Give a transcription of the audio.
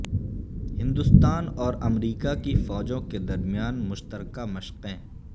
ہندوستان اور امریکہ کی فوجوں کے درمیان مشترکہ مشقیں